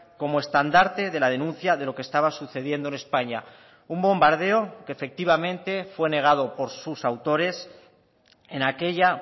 como estandarte de la denuncia de lo que estaba sucediendo en españa un bombardeo que efectivamente fue negado por sus autores en aquella